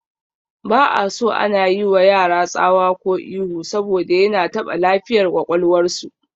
Ba'aso ana yiwa yara tsawa ko ihu saboda yana taɓa lafiyar ƙwaƙwalwar su